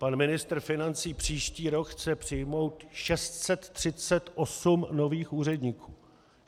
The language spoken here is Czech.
Pan ministr financí příští rok chce přijmout 638 nových úředníků.